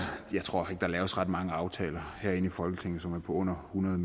der laves ret mange aftaler herinde i folketinget som er på under hundrede